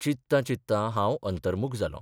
चिंत्ता चिंत्ता हांव अंतर्मुख जालो